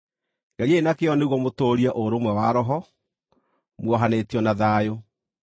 Geriai na kĩyo nĩguo mũtũũrie ũrũmwe wa Roho, muohanĩtio na thayũ.